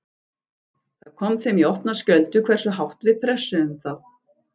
Það kom þeim í opna skjöldu hversu hátt við pressuðum þá.